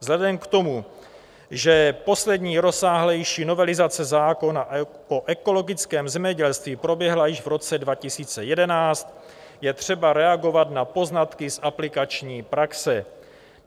Vzhledem k tomu, že poslední rozsáhlejší novelizace zákona o ekologickém zemědělství proběhla již v roce 2011, je třeba reagovat na poznatky z aplikační praxe.